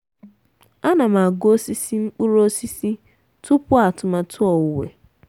ana m agụ osisi mkpụrụ osisi tupu atụmatụ owuwe.